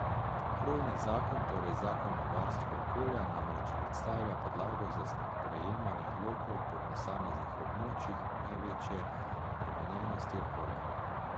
Krovni zakon, torej zakon o varstvu okolja, namreč predstavlja podlago za sprejemanje odlokov po posameznih območjih največje obremenjenosti okolja.